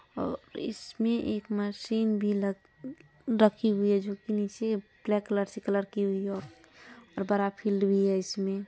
ओ इसमें एक मशीन भी लग-रखी हुई है जोकि नीचे ब्लैक कलर से कलर की हुई है और और बड़ा फील्ड भी है। इसमें--